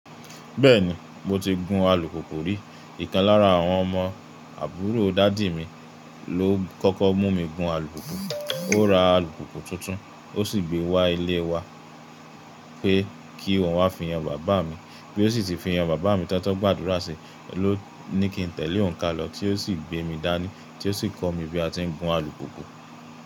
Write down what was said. Bẹ́ẹ̀ni, mo ti gun alùpùpù rí. Íkan lára àwọn ọmọ àbúrò dádì mi ló kọ́kọ́ mú mi gun alùpùpù. Ó ra alùpùpù tuntun, ó sì gbé wá ilé wa pé kí òun wá fi yan bàbá mi, bí ó sì ti fi hàn bàbá mi tán tó gbàdúrà sí ọ lọ́ ní kí n tẹ̀lé òun ka lọ tí ó sì gbé mi dání tí ó sì kọ́ mi bí a ti ń gun alùpùpù.